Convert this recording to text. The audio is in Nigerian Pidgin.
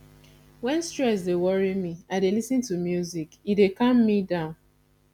wen stress dey worry me i dey lis ten to music e dey calm me down